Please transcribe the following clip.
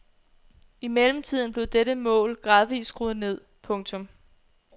I mellemtiden blev dette mål gradvist skruet ned. punktum